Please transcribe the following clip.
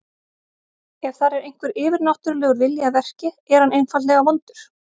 Ef þar er einhver yfirnáttúrulegur vilji að verki, er hann einfaldlega vondur.